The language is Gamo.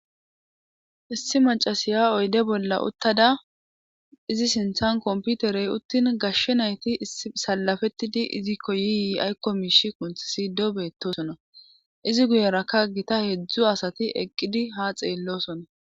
Issi macasiya oyde bolla uttada izi sinthan komputerey uttin gashshe nayti salafettidi izikko yiiyi aykko miishi qunth sido beettosona izi guyerakka gita heeedzdzu asati eqqidi ha xeellosona.